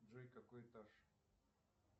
джой какой этаж